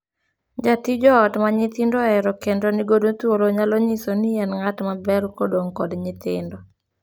Jatij ot ma nyithindo ohero kendo ni godo thuolo nyalo nyiso ni en ng'at maber kodong' kod nyithindo.